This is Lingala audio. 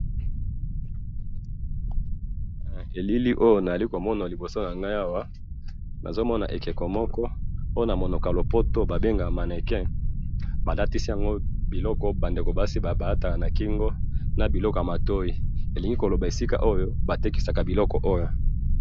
Elili oyo na zali ko mona liboso na ngai awa, nazomona ekeko moko po na monoko ya lopoto ba bengaka mannequin, ba latisi yango biloko oyo ba ndeko basi ba lataka na kingo na biloko ya matoyi, elingi koloba na esika oyo ba tekisaka biloko oyo